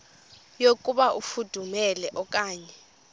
yokuba ifudumele okanye